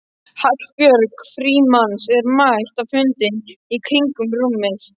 Hallbjörg Frímanns er mætt á fundinn í kringum rúmið.